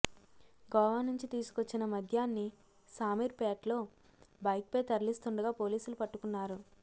గోవా నుంచి తీసుకొచ్చిన మద్యాన్ని శామీర్పేటలో బైక్పై తరలిస్తుండగా పోలీసులు పట్టుకున్నారు